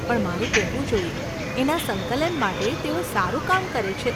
પણ મારે કહેવું જોઈએ, એના સંકલન માટે તેઓ સારું કામ કરે છે.